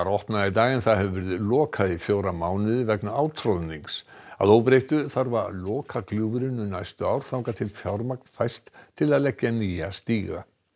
opnað í dag en það hefur verið lokað í fjóra mánuði vegna átroðnings að óbreyttu þarf að loka gljúfrinu næstu ár þangað til fjármagn fæst til að leggja nýjan stíg